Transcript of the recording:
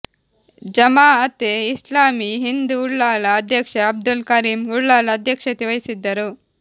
ಜಮಾಅತೆ ಇಸ್ಲಾಮೀ ಹಿಂದ್ ಉಳ್ಳಾಲ ಅಧ್ಯಕ್ಷ ಅಬ್ದುಲ್ ಕರೀಂ ಉಳ್ಳಾಲ ಅಧ್ಯಕ್ಷತೆ ವಹಿಸಿದ್ದರು